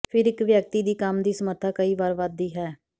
ਫਿਰ ਇੱਕ ਵਿਅਕਤੀ ਦੀ ਕੰਮ ਦੀ ਸਮਰੱਥਾ ਕਈ ਵਾਰ ਵੱਧਦੀ ਹੈ